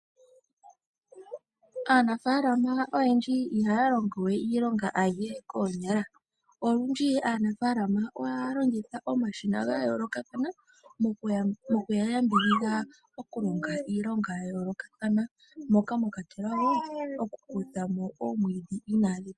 Aanafaalama oyendji ihaya longo we iilonga yihe koonyala ,olundji aanafaalama ohaya longitha omashina ga yoolokathana mokuya yambidhidha, oku longa iilonga ya yooloka moka mwakwatelwa woo oku heyamo oomwiidhi.